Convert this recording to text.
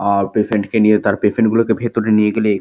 আর patient -কে নিয়ে তার পেশেন্ট গুলোকে ভেতরে নিয়ে গেলে--